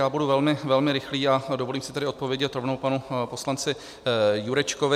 Já budu velmi, velmi rychlý a dovolím si tedy odpovědět rovnou panu poslanci Jurečkovi.